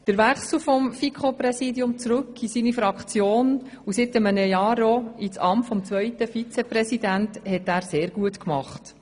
Den Wechsel vom FiKo-Präsidium zurück in seine Fraktion und seit einem Jahr auch in das Amt des zweiten Vizepräsidenten hat er sehr gut vollzogen.